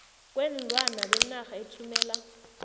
kweenlwana benarha ethumela